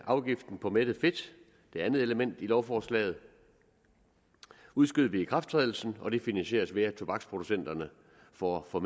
afgiften på mættet fedt det andet element i lovforslaget udskyder vi ikrafttrædelsen og det finansieres ved at tobaksproducenterne får får